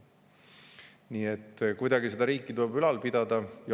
Nii et kuidagi tuleb seda riiki ülal pidada.